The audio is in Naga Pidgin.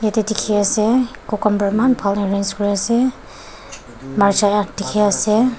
ete dikhi ase cucumber eman bal arrange kuri ase marcha dikhi ase.